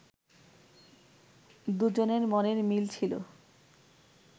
দুজনের মনের মিল ছিল